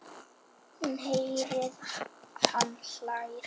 Hún heyrir að hann hlær.